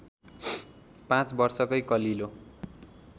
पाँच वर्षकै कलिलो